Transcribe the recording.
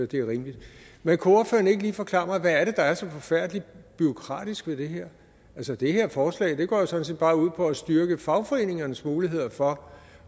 det er rimeligt men kunne ordføreren ikke lige forklare mig hvad det er der er så forfærdelig bureaukratisk ved det her altså det her forslag går jo sådan set bare ud på at styrke fagforeningernes muligheder for